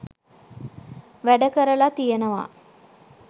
වැඩ කරලා තියෙනවා